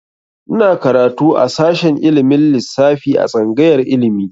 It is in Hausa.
Ina karatu a shashin ilimin lissafi a tsangayar ilimi.